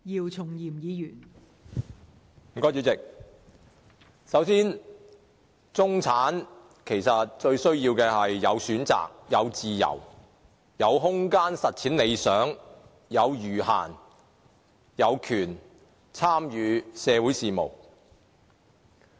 代理主席，首先，中產最需要的，其實是有選擇、有自由、有空間實踐理想、有餘閒，以及有權參與社會事務。